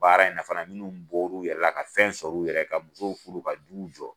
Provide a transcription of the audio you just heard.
Baara in fafa la minnu bɔra u yɛrɛ la ka fɛn sɔrɔ u yɛrɛ ye ka musow furu ka duw jɔ